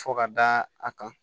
Fo ka da a kan